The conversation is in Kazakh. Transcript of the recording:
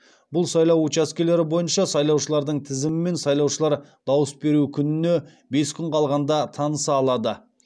бұл сайлау учаскелері бойынша сайлаушылардың тізімімен сайлаушылар дауыс беру күніне бес күн қалғанда таныса алады